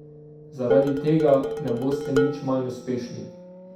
Zaradi tega ne boste nič manj uspešni.